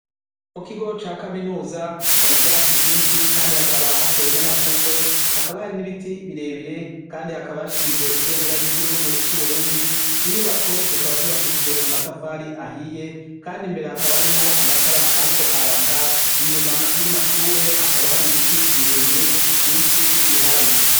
Mu kigo ca kaminuza, hari ivyatsi vyinshi kandi hakaba hateye n'amashurwe, hakaba hari n'ibiti birebire kandi hakaba hashinze ibendera ry'igihugu c'Uburundi inyubako zikaba zubakijije amatafari ahiye kandi imbere hakaba harimwo amatara ariko araka inyuma y'amashure hakaba hari biti birebire vyinshi bihari.